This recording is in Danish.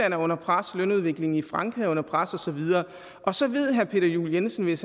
er under pres lønudviklingen i frankrig er under pres og så videre og så ved herre peter juel jensen hvis